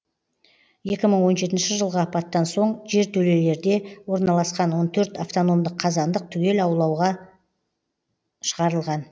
екі мың он жетінші жылғы апаттан соң жертөлелерде орналасқан он төрт автономдық қазандық түгел аулауға шығарылған